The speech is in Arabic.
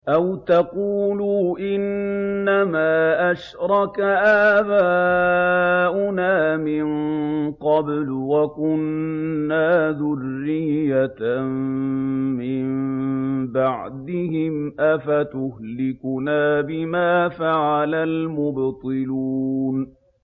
أَوْ تَقُولُوا إِنَّمَا أَشْرَكَ آبَاؤُنَا مِن قَبْلُ وَكُنَّا ذُرِّيَّةً مِّن بَعْدِهِمْ ۖ أَفَتُهْلِكُنَا بِمَا فَعَلَ الْمُبْطِلُونَ